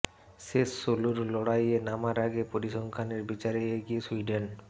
শেষ ষোলোর লড়াইয়ে নামার আগে পরিসংখ্যানের বিচারে এগিয়ে সুইডেন